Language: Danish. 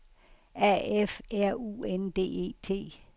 A F R U N D E T